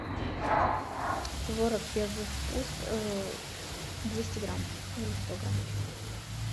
творог первый вкус двести грамм или сто грамм